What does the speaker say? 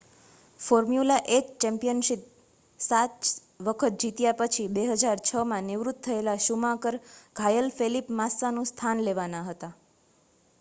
formula 1 championship 7 વખત જીત્યા પછી 2006માં નિવૃત્ત થયેલા શુમાકર ઘાયલ ફેલિપ માસ્સાનું સ્થાન લેવાના હતા